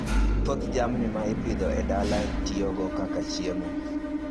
Thoth jamni ma ipidho e dala itiyogo kaka chiemo